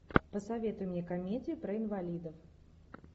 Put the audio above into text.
посоветуй мне комедию про инвалидов